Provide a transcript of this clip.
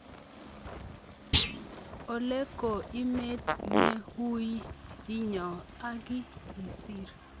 Ole ko emet ne ui inyo aki isir.